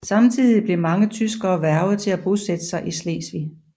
Samtidig blev mange tyskere hvervet til at bosætte sig i Slesvig